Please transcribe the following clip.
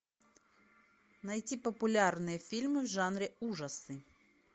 найти популярные фильмы в жанре ужасы